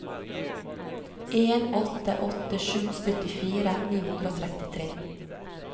en åtte åtte sju syttifire ni hundre og trettitre